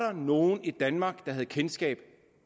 nogen i danmark der havde kendskab